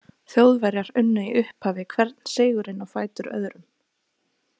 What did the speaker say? Þjóðverjar unnu í upphafi hvern sigurinn á fætur öðrum.